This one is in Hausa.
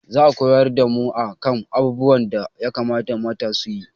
Za a koyar da mu a kan abubuwan da ya kamata mata su yi